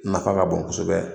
Nafa ka bon kosɛbɛ.